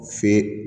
Fe